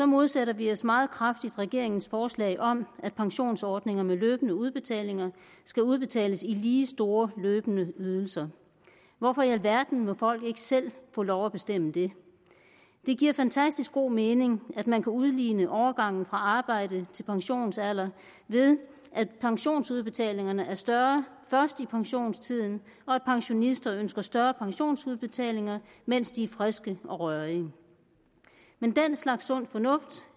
modsætter vi os meget kraftigt regeringens forslag om at pensionsordninger med løbende udbetalinger skal udbetales i lige store løbende ydelser hvorfor i alverden må folk ikke selv få lov at bestemme det det giver fantastisk god mening at man kan udligne overgangen fra arbejde til pensionsalder ved at pensionsudbetalingerne er større først i pensionstiden og at pensionister kan ønske større pensionsudbetalinger mens de er friske og rørige men den slags sund fornuft